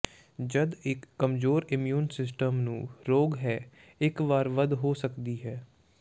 ਜਦ ਇੱਕ ਕਮਜ਼ੋਰ ਇਮਿਊਨ ਸਿਸਟਮ ਨੂੰ ਰੋਗ ਹੈ ਇੱਕ ਵਾਰ ਵੱਧ ਹੋ ਸਕਦੀ ਹੈ